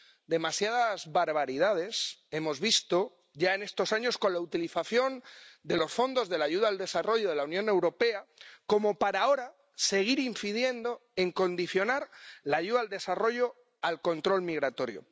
Demasiadas barbaridades hemos visto ya en estos años con la utilización de los fondos de la ayuda al desarrollo de la Unión Europea como para ahora seguir incidiendo en condicionar la ayuda al desarrollo al control migratorio.